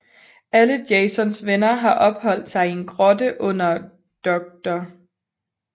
Alle Jasons venner har opholdt sig i en grotte under Dr